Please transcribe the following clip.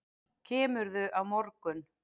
Kemurðu á morgun?